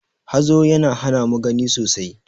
Hazo ya hana mu gani sosai.